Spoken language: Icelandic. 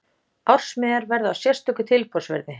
Ársmiðar verða á sérstöku tilboðsverði.